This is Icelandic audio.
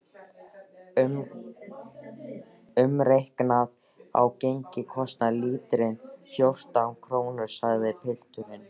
Umreiknað á gengi kostar lítrinn fjórtán krónur, sagði pilturinn.